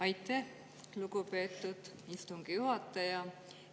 Aitäh, lugupeetud istungi juhataja!